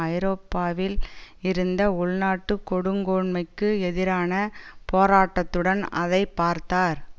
ஐரோப்பாவில் இருந்த உள்நாட்டு கொடுங்கோன்மைக்கு எதிரான போராட்டத்துடன் அதை பார்த்தார்